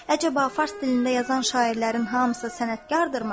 Əcəba fars dilində yazan şairlərin hamısı sənətkardırmı?